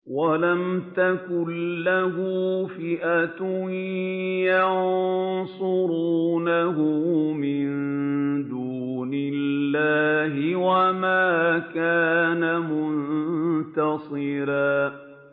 وَلَمْ تَكُن لَّهُ فِئَةٌ يَنصُرُونَهُ مِن دُونِ اللَّهِ وَمَا كَانَ مُنتَصِرًا